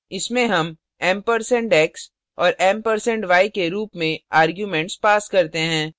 इसमें हम ampersand x और ampersand y के रूप में arguments pass करते हैं